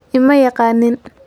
Ima yaqaaniin.